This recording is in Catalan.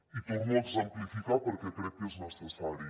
i ho torno a exemplificar perquè crec que és necessari